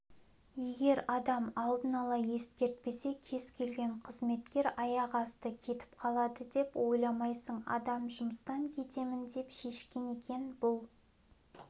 егер адам алдын ала ескертпесе кез келген қызметкер аяқ асты кетіп қалады деп ойламайсың адам жұмыстан кетемін деп шешкен екен бұл